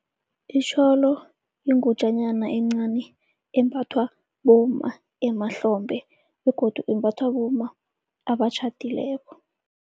Itjholo yingutjanyana encani embathwa bomma emahlombe begodu imbathwa bomma abatjhadileko.